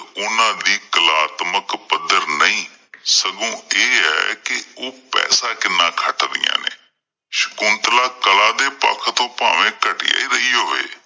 ਉਹਨਾਂ ਦੀ ਕਲਾਤਮਕ ਪੱਧਰ ਨਹੀਂ, ਸਗੋਂ ਇਹ ਹੈ ਕਿ ਉਹ ਪੈਸਾ ਕਿੰਨਾ ਖੱਟ ਦੀਆਂ ਨੇ ਸ਼ਕੁੰਲਤਾ ਕਲਾ ਦੇ ਪੱਖ ਤੋਂ ਭਾਵੇ ਘਟੀਆ ਹੀ ਰਹੀ ਹੋੋਵੇ।